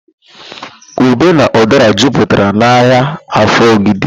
Ube na ụdara juputara n'ahịa Afọ Ogidi